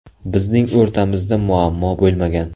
Bizning o‘rtamizda muammo bo‘lmagan.